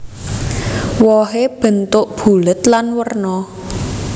Wohé bentuk bulat lan werna